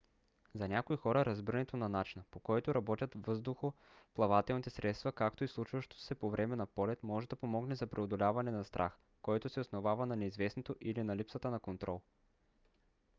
за някои хора разбирането на начина по който работят въздухоплавателните средства както и случващото се по време на полет може да помогне за преодоляване на страх който се основава на неизвестното или на липсата на контрол